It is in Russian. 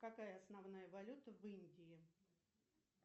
какая основная валюта в индии